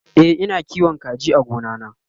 e Ina kiwon kaji a gona na